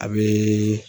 A bɛ